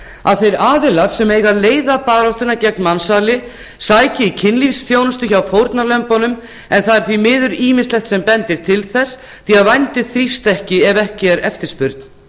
að þeir aðilar sem eiga að leiða baráttuna gegn mansali sæki í kynlífsþjónustu hjá fórnarlömbunum en það er því miður ýmislegt sem bendir til þess því að vændi þrífst ekki ef ekki er eftirspurn